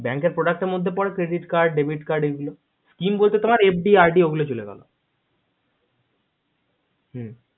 bank এর product card এর মধ্যে credit card debit card পরে বলতে scheme বলতে FD RD চলে গেলো হু